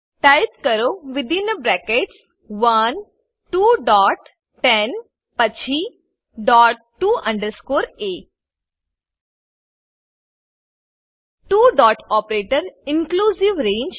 type કરો within brackets 1 two dot 10 then dot to underscore a two dot operator inclusive range